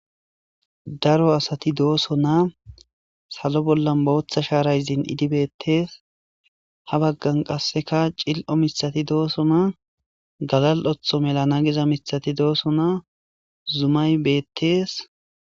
Daro asati dooso naa salo bolla booththa shaarayzin idibettees ha baggan qasseka cil'o misati dooso naa galal'otho melana giza misati dooso naa zumay beettees.